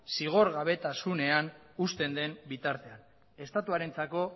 zigor gabetasunean usten den bitartean estatuarentzako